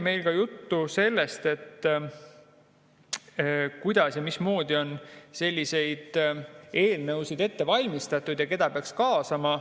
Meil oli juttu ka sellest, kuidas ja mismoodi on selliseid eelnõusid ette valmistatud ja keda peaks kaasama.